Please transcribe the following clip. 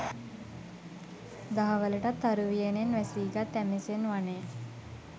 දහවලටත් තරු වියනෙන් වැසීගත් ඇමෙසන් වනය